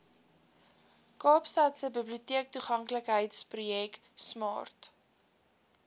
kaapstadse biblioteektoeganklikheidsprojek smart